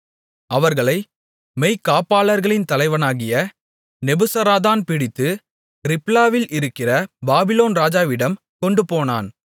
அவர்களை மெய்க்காப்பாளர்களின் தலைவனாகிய நெபுசராதான் பிடித்து ரிப்லாவில் இருக்கிற பாபிலோன் ராஜாவிடம் கொண்டுபோனான்